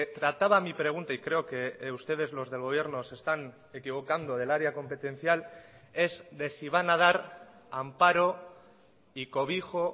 trataba mi pregunta y creo que ustedes los del gobierno se están equivocando del área competencial es de si van a dar amparo y cobijo